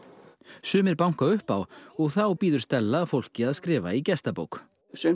sumir banka upp á og þá bíður Stella fólki að skrifa í gestabók